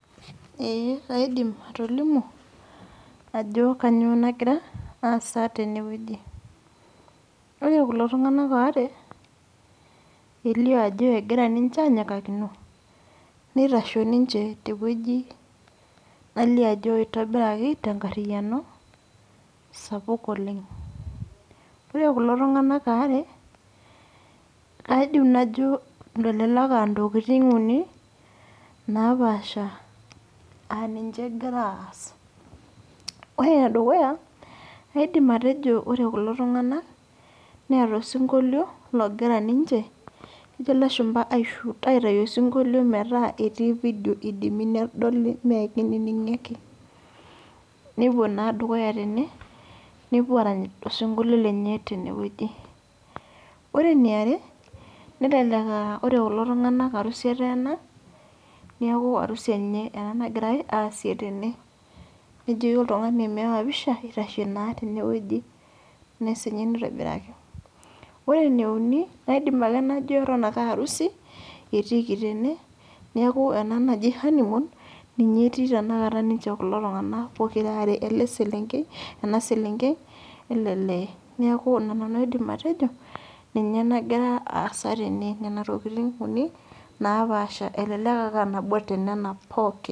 Eeh kaidim atolimu ajo kanyio nagira aasa tenewueji ore kulo tunganak aare elio ajo egira ninche anyikakino nitasho tewoi aitobiraki tenkariano sapuk oleng ore kulo tunganak aare aidim atejo elelek aa ntokitin uni aa ninche egira aas ore enedukuya aidim atejo ore kulo tunganak neeta osinkoilio ogira ninche aitayu osinkollo metaa etii fidio metaa kedoli mekininingo nepuo na dukuya tene nepuo arany osinkolio lenye tenewueji ore kulo tunganak na arasu eteena neaku arusi enye egirai tene nejoki oltungani meyawa pisha itasho na tene ore emeumi ajo ake nanu as asu ena tene neaku ena naji honeymoon etiiki tene etii kuko tunganak pokira aare leselenkei eleelee neaku ina namu aidim atejo egira aasa tene nona tokitin uni napaasha elelek ake aa nabo tonana poki..